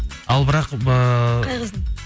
ал бірақ ыыы қай қыздың